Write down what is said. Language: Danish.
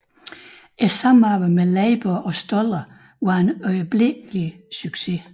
Samarbejdet med Leiber og Stoller var en øjeblikkelig succes